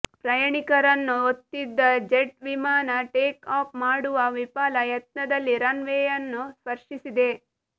ಪ್ರಯಾಣಿಕರನ್ನು ಹೊತ್ತಿದ್ದ ಜೆಟ್ ವಿಮಾನ ಟೇಕ್ ಆಫ್ ಮಾಡುವ ವಿಫಲ ಯತ್ನದಲ್ಲಿ ರನ್ ವೇಯನ್ನು ಸ್ಪರ್ಶಿಸಿದೆ